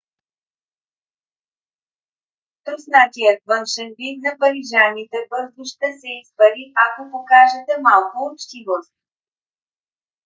троснатият външен вид на парижаните бързо ще се изпари ако покажете малко учтивост